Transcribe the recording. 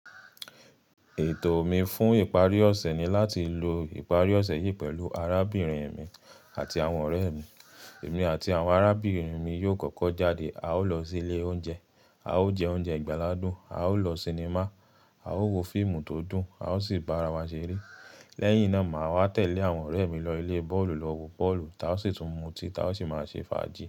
Ètò mi fún ìparí ọ̀ṣẹ̀ ni láti lo ìparí ọ̀ṣẹ̀ yìí pẹ̀lú arábìnrin mi àti àwọn ọ̀rẹ́ mi. Èmi àti àwọn arábìnrin mi yóò kọ́kọ́ jáde. A ó lọ sí ilé oúnjẹ, a ó jẹ oúnjẹ ìgbàlà dún, a ó lọ sinimá, a ó wo fíìmù tó dùn, a ó sì bára wa ṣeré. Lẹ́yìn náà, màá wá tẹ̀lẹ́ àwọn ọ̀rẹ́ mi lọ ilé bọ́ọ̀lù lọ wo bọ́ọ̀lù, táa sì tún muti, táa sì máa ṣe fàájì.